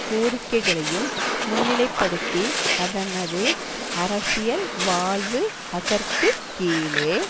கோரிக்கைகளையும் முன்னிலைப்படுத்தி அதனது அரசியல் வாழ்வு அதற்கு கீழே